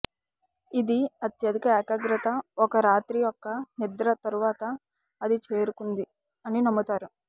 ఇది అత్యధిక ఏకాగ్రత ఒక రాత్రి యొక్క నిద్ర తరువాత అది చేరుకుంది అని నమ్ముతారు